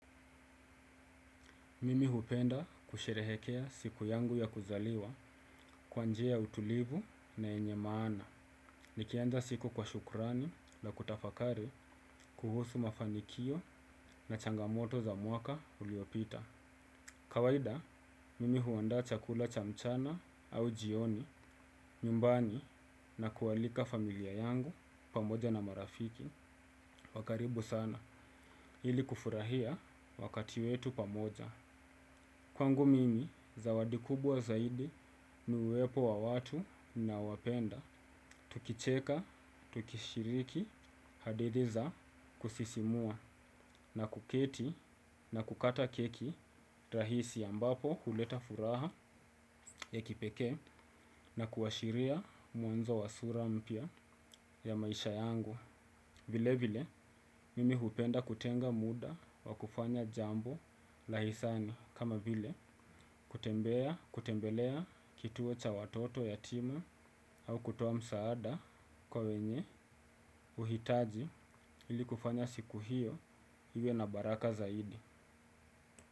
Mimi hupenda kusherehekea siku yangu ya kuzaliwa kwa njia ya utulivu na yenye maana. Nikianza siku kwa shukurani la kutafakari kuhusu mafanikio na changamoto za mwaka uliopita. Kawaida, mimi huanda chakula cha mchana au jioni, nyumbani na kualika familia yangu pamoja na marafiki. Wa karibu sana ili kufurahia wakati wetu pamoja. Kwangu mimi zawadi kubwa zaidi ni uwepo wa watu nanaowapenda, tukicheka, tukishiriki, hadithi za kusisimua na kuketi na kukata keki rahisi ambapo huleta furaha ya kipekee na kuashiria mwanzo wa sura mpya ya maisha yangu. Vile vile mimi hupenda kutenga muda wa kufanya jambo la hisani kama vile kutembelea kituo cha watoto yatima au kutoa msaada kwa wenye uhitaji ili kufanya siku hiyo iwe na baraka zaidi.